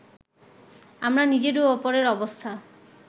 আমরা নিজের ও অপরের অবস্থা